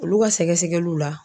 Olu ka sɛgɛsɛlu la.